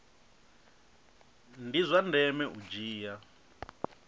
ndi zwa ndeme u dzhia